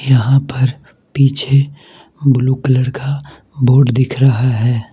यहां पर पीछे ब्लू कलर का बोर्ड दिख रहा है।